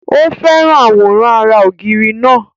Ó fẹ́ràn àwòrán ara ògiri náà.